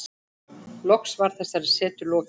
Loks var þessari setu lokið.